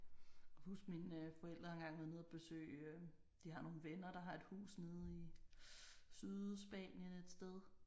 Kan huske mine forældre engang har været nede og besøge de har nogle venner der har et hus nede i Sydspanien et sted